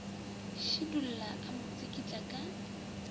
šidulla a mo tsikitla ka